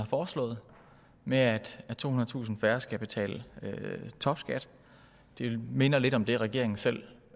foreslået med at tohundredetusind færre skal betale topskat det minder lidt om det regeringen selv